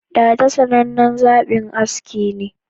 Dada sanan nan zaɓi aski ne